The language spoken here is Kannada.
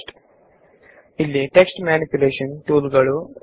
ಇವೆಲ್ಲಾ command line text manipulation tool ಗಳಾಗಿವೆ